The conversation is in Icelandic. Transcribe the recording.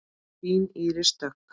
Þín Íris Dögg.